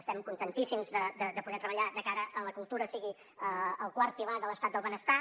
estem contentíssims de poder treballar de cara a que la cultura sigui el quart pilar de l’estat del benestar